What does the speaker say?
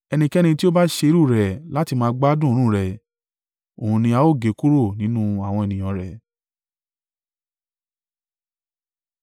Ẹnikẹ́ni tí ó bá ṣe irú rẹ̀ láti máa gbádùn òórùn rẹ̀, òun ni a ó gé kúrò nínú àwọn ènìyàn rẹ̀.”